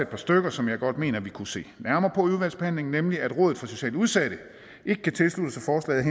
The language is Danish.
par stykker som jeg godt mener vi kunne se nærmere på i udvalgsbehandlingen nemlig at rådet for socialt udsatte ikke kan tilslutte sig forslaget